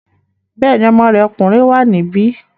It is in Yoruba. Bẹ́ẹ̀ni, ọmọ rẹ̀ ọkùnrin wà níbí